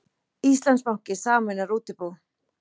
Íslandsbanki sameinar útibú